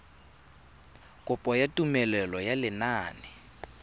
kopo ya tumelelo ya lenane